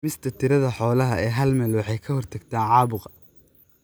Dhimista tirada xoolaha ee hal meel waxay ka hortagtaa caabuqa.